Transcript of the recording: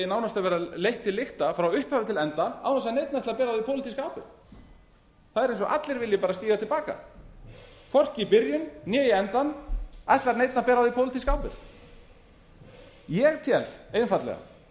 nánast að vera leitt til lykta frá upphafi til enda án þess að neinn ætli að bera á því pólitíska ábyrgð það er eins og allir vilji stíga til baka hvorki í byrjun né í endann ætlar neinn að bera á því pólitíska ábyrgð ég tel einfaldlega að